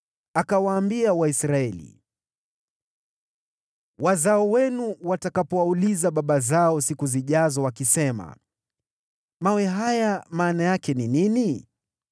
Akawaambia Waisraeli, “Wazao wenu watakapowauliza baba zao siku zijazo wakisema, ‘Mawe haya maana yake ni nini?’